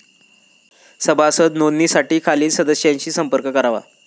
सभासद नोंदणीसाठी खालील सदस्यांशी संपर्क करावा.